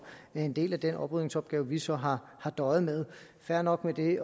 er en del af den oprydningsopgave vi så har har døjet med fair nok med det